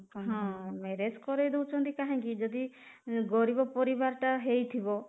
ହଁ, marriage କରେଇଦଉଛନ୍ତି କାହିଁକି ଯଦି ଗରିବ ପରିବାର ଟା ହେଇଥିବ